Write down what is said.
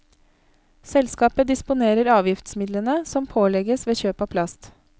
Selskapet disponerer avgiftsmidlene som pålegges ved kjøp av plast.